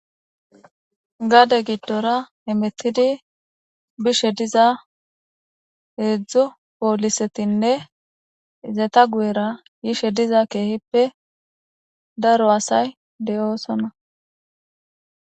gaade giddora hemettidi bishe diza heedzdzu poolisetinne izeeta gu7era yishe diza keehippe daro asay de7oosona